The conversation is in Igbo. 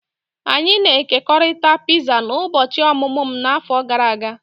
Anyị na-ekekọrịta piza n'ụbọchị ọmụmụ m n'afọ gara aga.